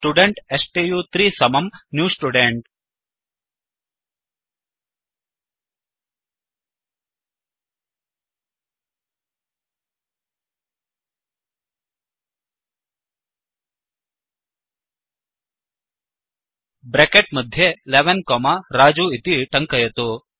student स्तु3 समं new student bracket मध्ये 11 कोमा रजु इति टङ्कयतु